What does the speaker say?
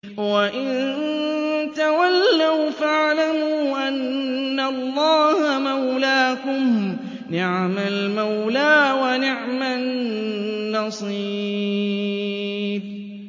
وَإِن تَوَلَّوْا فَاعْلَمُوا أَنَّ اللَّهَ مَوْلَاكُمْ ۚ نِعْمَ الْمَوْلَىٰ وَنِعْمَ النَّصِيرُ